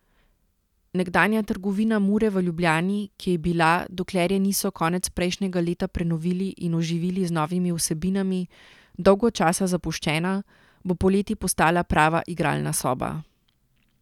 Nekdanja trgovina Mure v Ljubljani, ki je bila, dokler je niso konec prejšnjega leta prenovili in oživili z novimi vsebinami, dolgo časa zapuščena, bo poleti postala prava igralna soba.